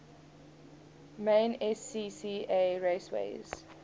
main scca raceways